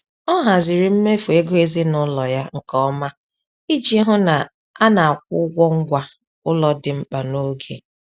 Ọ haziri mmefu ego ezinụlọ ya nke ọma iji hụ na a na-akwụ ụgwọ ngwa ụlọ dị mkpa n’oge.